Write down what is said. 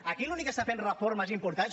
aquí l’únic que està fent reformes importants